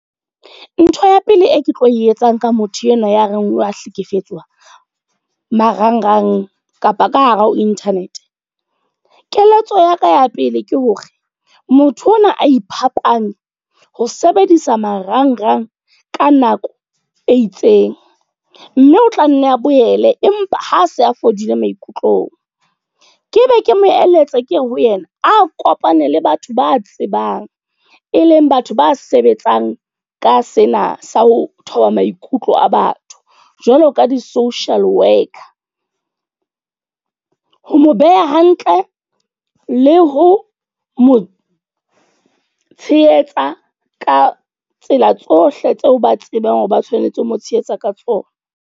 Ntho ya pele e ke tlo e etsang ka motho enwa ya re wa hlekefetswa, marangrang kapa ka hara ho internet. Keletso ya ka ya pele ke hore, motho ona a iphapanye ho sebedisa marangrang ka nako e itseng. Mme o tla nne a boele empa ha se a fodile maikutlong. Ke be ke mo eletse ke ho yena, a kopane le batho ba tsebang. E leng batho ba sebetsang ka sena sa ho thiba maikutlo a batho. Jwalo ka di-social worker. Ho mo beha hantle le ho mo tshehetsa ka tsela tsohle tseo ba tsebang hore ba tshwanetse ho mo tshehetsa ka tsona.